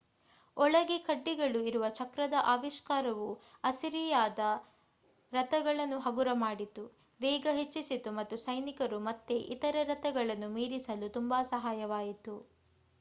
ಒಳಗೆ ಕಡ್ಡಿಗಳು ಇರುವ ಚಕ್ರದ ಆವಿಷ್ಕಾರವು ಅಸಿರಿಯಾದ ರಥಗಳನ್ನು ಹಗುರ ಮಾಡಿತು ವೇಗ ಹೆಚ್ಚಿಸಿತು ಮತ್ತು ಸೈನಿಕರು ಮತ್ತೆ ಇತರೆ ರಥಗಳನ್ನು ಮೀರಿಸಲು ತುಂಬಾ ಸಹಾಯವಾಯಿತು